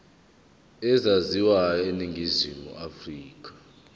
ezaziwayo eningizimu afrika